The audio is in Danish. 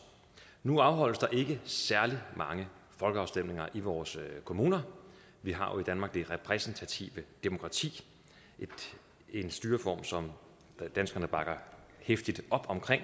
nu afholdes der ikke særlig mange folkeafstemninger i vores kommuner vi har jo i danmark det repræsentative demokrati en styreform som danskerne bakker heftigt op om der